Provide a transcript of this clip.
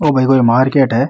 वो भई भई मार्केट है।